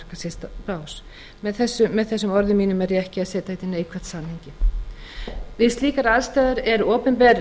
sér bás með þessum orðum mínum er ég ekki að setja þetta í neikvætt samhengi við slíkar aðstæður er opinber